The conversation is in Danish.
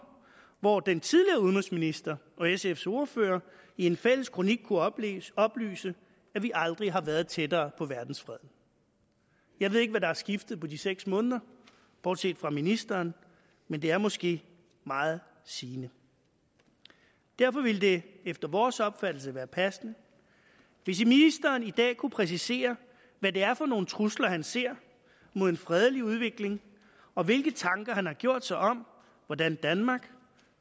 hvor den tidligere udenrigsminister og sfs ordfører i en fælles kronik kunne oplyse oplyse at vi aldrig har været tættere på verdensfreden jeg ved ikke hvad der er skiftet på de seks måneder bortset fra ministeren men det er måske meget sigende derfor ville det efter vores opfattelse være passende hvis ministeren i dag kunne præcisere hvad det er for nogle trusler han ser mod en fredelig udvikling og hvilke tanker han har gjort sig om hvordan danmark